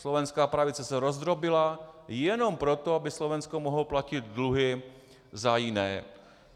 Slovenská pravice se rozdrobila jenom proto, aby Slovensko mohlo platit dluhy za jiné.